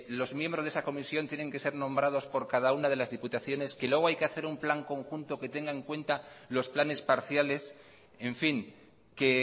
los miembros de esa comisión tienen que ser nombrados por cada una de las diputaciones que luego hay que hacer un plan conjunto que tenga en cuenta los planes parciales en fin que